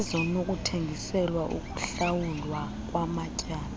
ezinokuthengiselwa ukuhlawulwa kwamatyala